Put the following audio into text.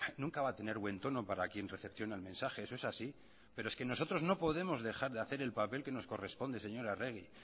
nunca va a tener buen tono para quien recepciona el mensaje eso es así pero es que nosotros no podemos dejar de hacer el papel que nos corresponde señora arregi